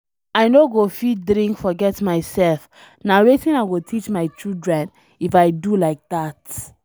I no go fit drink forget myself, na wetin I go teach my children if I do like dat?